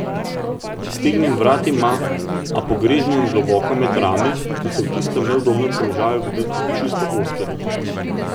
Iztegnjen vrat ima, a pogreznjen globoko med rame, ki so v tistem neudobnem položaju videti čisto ozke.